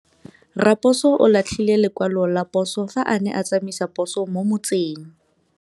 Raposo o latlhie lekwalô ka phosô fa a ne a tsamaisa poso mo motseng.